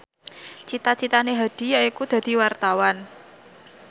cita citane Hadi yaiku dadi wartawan